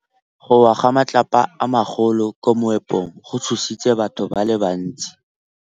Go wa ga matlapa a magolo ko moepong go tshositse batho ba le bantsi.